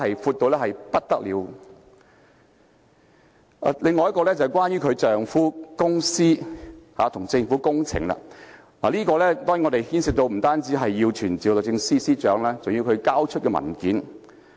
此外，要審查有關司長丈夫的公司與政府的工程有關的業務，我們當然不單要傳召律政司司長，更要她交出文件。